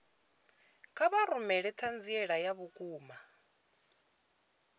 kha vha rumele ṱhanziela ya vhukuma